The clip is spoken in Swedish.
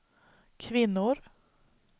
kvinnor